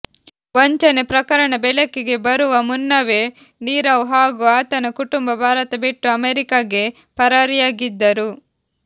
ವಂಚನೆ ಪ್ರಕರಣ ಬೆಳಕಿಗೆ ಬರುವ ಮುನ್ನವೇ ನೀರವ್ ಹಾಗೂ ಆತನ ಕುಟುಂಬ ಭಾರತ ಬಿಟ್ಟು ಅಮೆರಿಕಗೆ ಪರಾರಿಯಾಗಿದ್ದರು